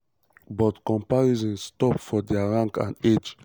but comparisons stop for dia rank and age.